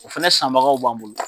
O fɛnɛ sanbagaw b'an bolo